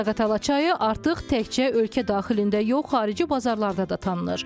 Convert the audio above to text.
Zaqatala çayı artıq təkcə ölkə daxilində yox, xarici bazarlarda da tanınır.